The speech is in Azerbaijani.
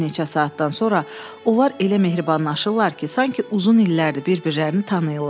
Bir neçə saatdan sonra onlar elə mehribanlaşırlar ki, sanki uzun illərdir bir-birlərini tanıyırlar.